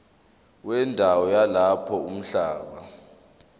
wendawo yalapho umhlaba